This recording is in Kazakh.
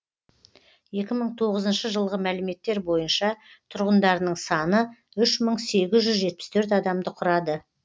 екі мың тоғызыншы жылғы мәліметтер бойынша тұрғындарының саны үш мың сегіз жүз жетпіс төрт адамды құрады